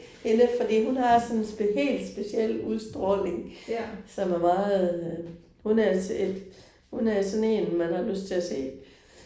Hende fordi hun har sådan en helt speciel udstråling som er meget hun er hun er sådan én man har lyst til at se